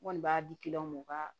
N kɔni b'a di ma u ka